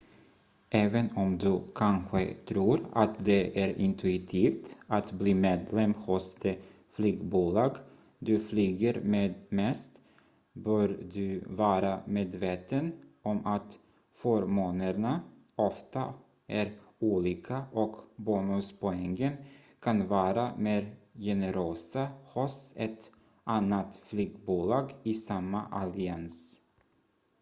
även om du kanske tror att det är intuitivt att bli medlem hos det flygbolag du flyger med mest bör du vara medveten om att förmånerna ofta är olika och bonuspoängen kan vara mer generösa hos ett annat flygbolag i samma allians